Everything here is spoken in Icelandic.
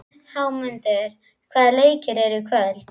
Hámundur, hvaða leikir eru í kvöld?